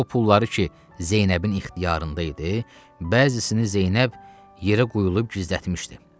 O pulları ki Zeynəbin ixtiyarında idi, bəzisini Zeynəb yerə quyulayıb gizlətmişdi.